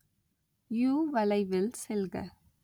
யூ-வளைவில் செல்க